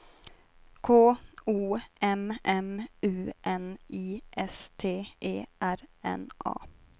K O M M U N I S T E R N A